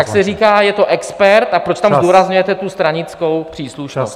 ... tak se říká: Je to expert, a proč tam zdůrazňujete tu stranickou příslušnost?